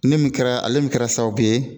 Ne min kɛra, ale min kɛra sababu ye